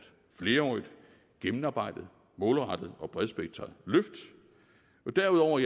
flerårigt gennemarbejdet målrettet og bredspektret løft og derudover